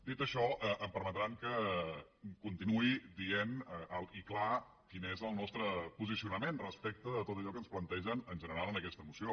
dit això em permetran que continuï dient alt i clar quin és el nostre posicionament respecte de tot allò que ens plantegen en general en aquesta moció